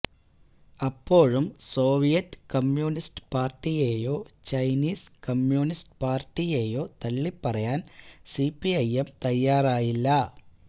അപ്പോഴും Soviet communist പാര്ടിയെയോ Chinese communist പാര്ടിയെയോ തള്ളിപ്പറയാന് സിപിഐ എം തയ്യാറായില്ല